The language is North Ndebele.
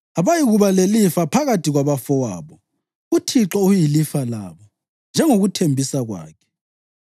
Abayikuba lelifa phakathi kwabafowabo; uThixo uyilifa labo, njengokuthembisa kwakhe.